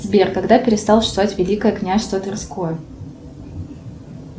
сбер когда перестало существовать великое княжество тверское